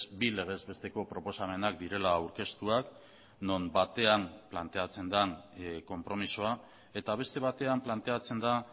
bi legez besteko proposamenak direla aurkeztuak non batean planteatzen den konpromisoa eta beste batean planteatzen da